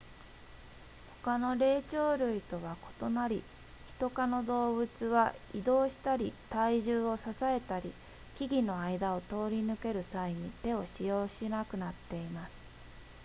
他の霊長類とは異なりヒト科の動物は移動したり体重を支えたり木々の間を通り抜ける際に手を使用しなくなっています